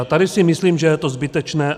A tady si myslím, že je to zbytečné.